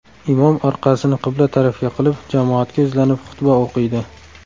Imom orqasini qibla tarafga qilib jamoatga yuzlanib xutba o‘qiydi.